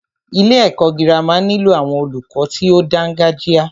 Ilé ẹ̀kọ́ gírámà nílò àwọn olùkọ tí o dáńgájia.